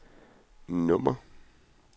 nummer